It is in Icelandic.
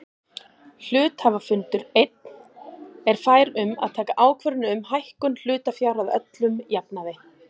Hluthafafundur einn er fær um að taka ákvörðun um hækkun hlutafjár að öllum jafnaði.